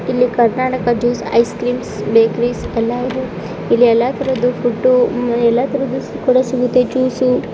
ಇದು Karnataka ice cream bakery ಇಲ್ಲಿ ಎಲ್ಲಾ ತರದ ಫುಡ್ ದೊರೆಯುತ್ತದೆ .